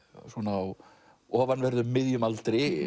á ofanverðum miðjum aldri